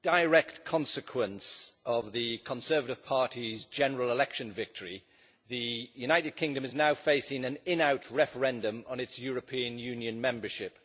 Mr President, as a direct consequence of the Conservative Party's general election victory, the United Kingdom is now facing an in out referendum on its European Union membership.